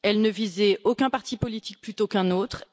Elle ne visait aucun parti politique plutôt qu'un autre